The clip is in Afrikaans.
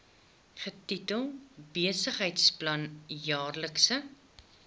getitel besigheidsplan jaarlikse